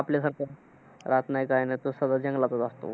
आपल्यासारखं रात नाय काय नाय. तो सरळ जंगलातच असतं.